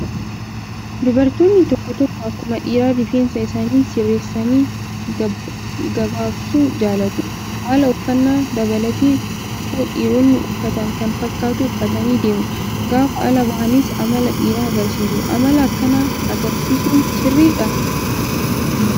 Dubartoonni tokko tokko akkuma dhiiraa rifeensa isaanii sirreessanii gabaabsuu jaallatu. Haala uffannaa dabalatee kofoo dhiironni uffatan kan fakkaatu uffatanii deemu. Gaafa ala bahanis amala dhiiraa agarsiisu. Amala akkanaa agarsiisuun sirriidhaa?